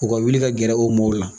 U ka wili ka gɛrɛ o mɔɔw la.